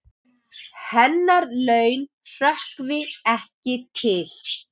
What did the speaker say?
Hennar laun hrökkvi ekki til.